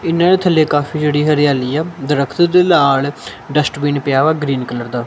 ਇਹਨਾਂ ਦੇ ਥੱਲੇ ਕਾਫੀ ਜਿਹੜੀ ਹਰਿਆਲੀ ਆ ਦਰਖਤ ਦੇ ਲਾਲ ਡਸਟਬੀਨ ਪਿਆ ਗਰੀਨ ਕਲਰ ਦਾ।